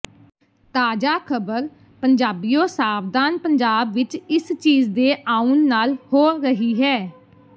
ਤਾਜਾ ਖਬਰ ਪੰਜਾਬੀਉ ਸਾਵਧਾਨ ਪੰਜਾਬ ਵਿੱਚ ਇਸ ਚੀਜ਼ ਦੇ ਆਉਣ ਨਾਲ ਹੋ ਰਹੀ ਹੈ